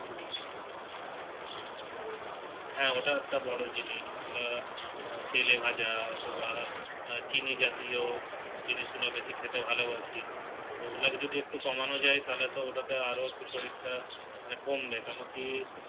হ্যাঁ ওটা একটা বড় জিনিস ওটা তেলে ভাজা অথবা চিনি জাতীয় জিনিস গুলো বেশি খেতে ভালোবাসি ওগুলো কে যদি একটু কমানো যায় তাহলে তো ওটাতে আরো একটু শরীর টা কমবে কেন কি